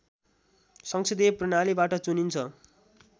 संसदीय प्रणालीबाट चुनिन्छ